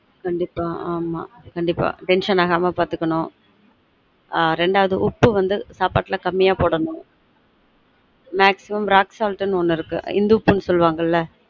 கண்டீப்பா ஆமா கண்டீப்பா tension ஆகாம பார்த்துகனும் ஆன் ரெண்டாவது உப்பு வந்து சாப்பாடுல கம்மியா போடனும் maximumrocksalt நு ஒன்னு இருக்கு இந்து உப்புனு சொல்வாங்கல